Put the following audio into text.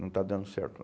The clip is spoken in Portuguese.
Não está dando certo não